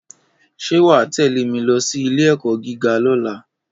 Ṣé wà á tẹ̀lé mi lọ sí ilé-ẹ̀kọ́ gíga lọ́la.